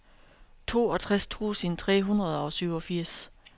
toogtres tusind tre hundrede og syvogfirs